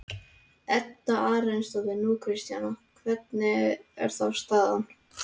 Edda Andrésdóttir: Nú, Kristjana, hvernig er þá staðan?